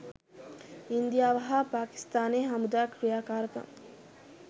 ඉන්දියාව හා පාකිස්තානයේ හමුදා ක්‍රියාකාරකම්